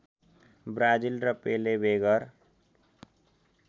Brazil र पेलेबेगर